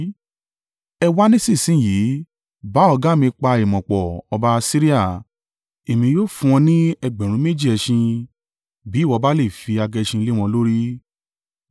“ ‘Ẹ wá nísinsin yìí, bá ọ̀gá mi pa ìmọ̀ pọ̀, ọba Asiria, èmi yóò fún ọ ní ẹgbẹ̀rún méjì (2,000) ẹṣin bí ìwọ bá le è fi agẹṣin lé wọn lórí!